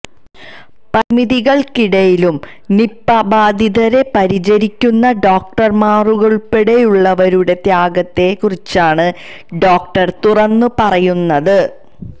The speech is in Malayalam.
പരിമിതികള്ക്കിടയിലും നിപ്പ ബാധിതരെ പരിചരിക്കുന്ന ഡോക്ടര്മാരുള്പ്പെടെയുള്ളവരുടെ ത്യാഗത്തെ കുറിച്ചാണ് ഡോക്ടര് തുറന്നു പറയുന്നത്